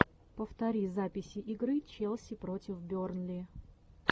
повтори записи игры челси против бернли